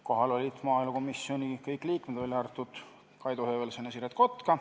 Kohal olid maaelukomisjoni kõik liikmed, välja arvatud Kaido Höövelson ja Siret Kotka.